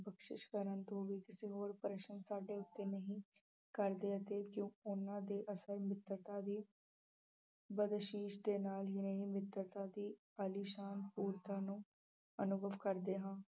ਬਖਸਿਸ ਕਰਨ ਤੋਂ ਵੀ ਕਿਸੇ ਹੋਰ ਪ੍ਰਸ਼ਨ ਸਾਡੇ ਉੱਤੇ ਨਹੀਂ ਕਰਦੇ ਅਤੇ ਜੋ ਉਹਨਾਂ ਦੇ ਅਸਲ ਮਿੱਤਰਤਾ ਵੀ ਬਦਅਸ਼ੀਸ਼ ਦੇ ਨਾਲ ਹੀ ਨਹੀਂ ਮਿੱਤਰਤਾ ਦੇ ਵਾਲੀ ਸ਼ਾਨ ਨੂੰ ਅਨੁਭਵ ਕਰਦੇ ਹਾਂ।